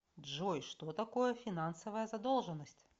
джой что такое финансовая задолженность